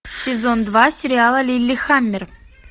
сезон два сериала лиллехаммер